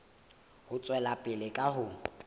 ho tswela pele ka ho